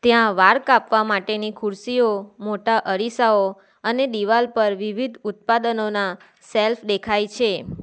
ત્યાં વાળ કાપવા માટેની ખુરશીઓ મોટા અરીસાઓ અને દિવાલ પર વિવિધ ઉત્પાદનોના સેલ્ફ દેખાય છે.